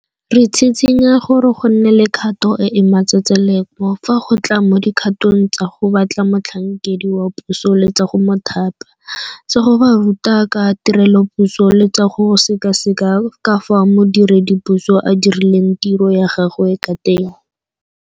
Re tshitshinya gore go nne le kgato e e matsetseleko fa go tla mo dikgatong tsa go batla motlhankedi wa puso le tsa go mo thapa, tsa go ba ruta ka tirelopuso le tsa go sekaseka ka fao modiredipuso a dirileng tiro ya gagwe ka teng.